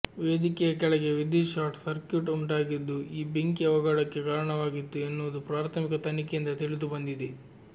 ವೇದಿಕೆಯ ಕೆಳಗೆ ವಿದ್ಯುತ್ ಶಾರ್ಟ್ ಸರ್ಕ್ಯೂಟ್ ಉಂಟಾಗಿದ್ದು ಈ ಬೆಂಕಿ ಅವಘಡಕ್ಕೆ ಕಾರಣವಾಗಿತ್ತು ಎನ್ನುವುದು ಪ್ರಾಥಮಿಕ ತನಿಖೆಯಿಂದ ತಿಳಿದು ಬಂದಿದೆ